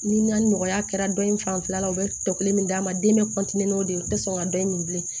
Ni na nɔgɔya kɛra dɔ in fanfɛla la u bɛ tɔ kelen min d'a ma den bɛ n'o de ye u tɛ sɔn ka dɔ in minɛ bilen